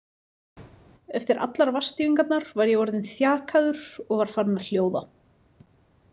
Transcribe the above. Eftir allar vatnsdýfingarnar var ég orðinn þjakaður og var farinn að hljóða.